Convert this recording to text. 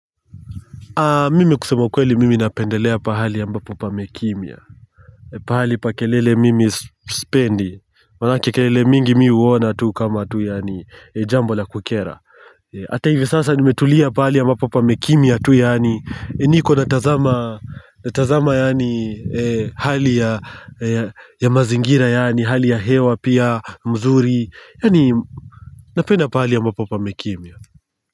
Mimi kusema kweli mimi napendelea pahali ya mbapo pamekimia Pahali pa kelele mimi isipendi. Wanake kelele mingi mihuona tu kama tu yani jambo la kukera Ata hivi sasa nimetulia pahali ya ambapo pamekimia tu yani niko na tazama ya hali ya mazingira ya hali ya hewa pia mzuri. Yani napenda pahali ya ambapo pamekimia.